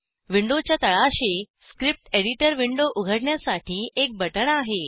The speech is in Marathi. विंडोच्या तळाशी स्क्रिप्ट एडिटर विंडो उघडण्यासाठी एक बटण आहे